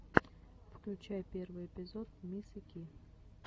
включай первый эпизод мисы ки